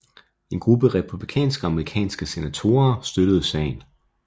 En gruppe republikanske amerikanske senatorer støttede sagen